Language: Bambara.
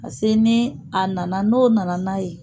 Pase ni a nana n'o nana n'a ye